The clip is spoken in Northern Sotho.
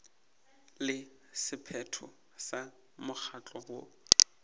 le sephetho sa mokgatlo woo